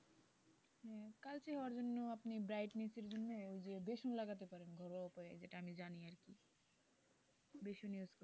কালচে হবার জন্য আপনি brightness এর জন্য ওই যে বেসন লাগাতে পারেন ঘরোয়া উপায়ে যেটা আমি জানি আর কি,